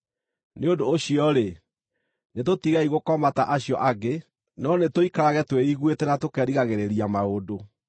Nĩ ũndũ ũcio-rĩ, nĩtũtigei gũkoma ta acio angĩ, no nĩtũikarage twĩiguĩte na tũkerigagĩrĩria maũndũ.